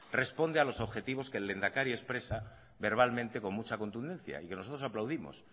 responde a los objetivos que el lehendakari expresa verbalmente con mucha contundencia y que nosotros aplaudimos